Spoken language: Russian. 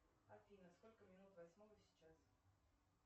афина сколько минут восьмого сейчас